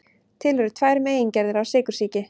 Til eru tvær megingerðir af sykursýki.